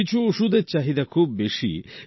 কিছু ওষুধের চাহিদা খুব বেশি